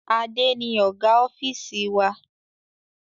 Adé ni Ọ̀gá ofiisi wa.